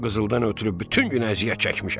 Bu qızıldan ötrü bütün gün əziyyət çəkmişəm.